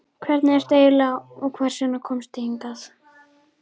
Hver ertu eiginlega og hvers vegna komstu hingað?